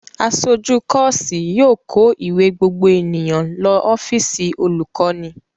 Aṣojú kọ́ọ́sì yóò kó ìwé gbogbo ènìyàn lọ ọ́fíísì olùkọ́ní.